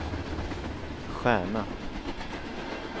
stjärna